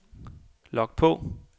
log på